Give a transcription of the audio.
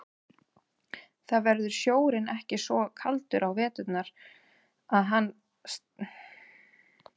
Þar verður sjórinn ekki svo kaldur á veturna að hann stefni lífi hans í hættu.